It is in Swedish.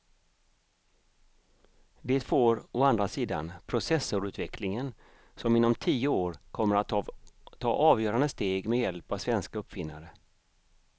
Det får å andra sidan processorutvecklingen som inom tio år kommer att ta avgörande steg med hjälp av svenska uppfinnare.